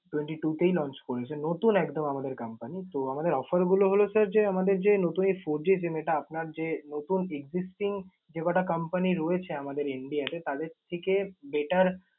twenty two তেই launch করেছে। নতুন একদম আমাদের company । তো আমাদের offer গুলো হল sir যে আমাদের যে, নতুন এই fourG SIM এটা আপনার যে নতুন existing যে কটা company রয়েছে আমাদের India তে তাদের থেকে better